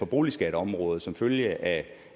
boligskatteområdet som følge af